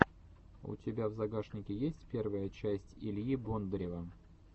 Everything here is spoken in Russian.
у тебя в загашнике есть первая часть ильи бондарева